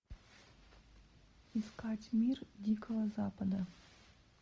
искать мир дикого запада